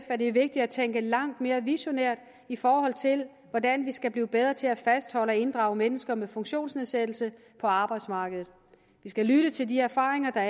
at det er vigtigt at tænke langt mere visionært i forhold til hvordan vi skal blive bedre til at fastholde og inddrage mennesker med funktionsnedsættelse på arbejdsmarkedet vi skal lytte til de erfaringer